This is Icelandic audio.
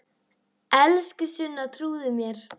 Elsku Sunna, trúðu mér!